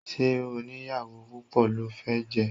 Ṣé onìyàwó púpọ̀ lo fẹ́ jẹ́?